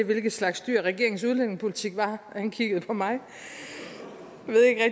hvilken slags dyr regeringens udlændingepolitik var og han kiggede på mig